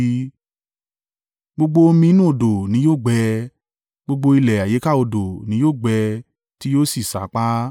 Gbogbo omi inú odò ni yóò gbẹ, gbogbo ilẹ̀ àyíká odò ni yóò gbẹ tí yóò sì sáàpá.